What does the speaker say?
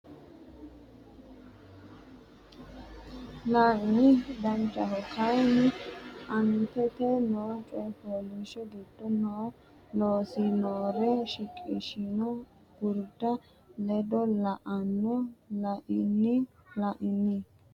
La ini danchaho kayinni aantete noo coy fooliishsho giddo noo loossinnore shiqishshanno gurda ledo la no La ini La ini.